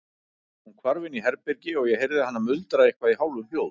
Hún hvarf inn í herbergi og ég heyrði hana muldra eitthvað í hálfum hljóðum.